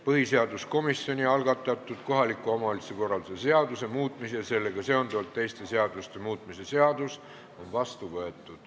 Põhiseaduskomisjoni algatatud kohaliku omavalitsuse korralduse seaduse muutmise ja sellega seonduvalt teiste seaduste muutmise seadus on vastu võetud.